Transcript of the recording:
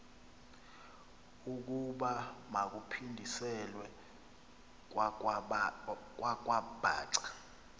ukuba makaphindiselwe kwakwabhaca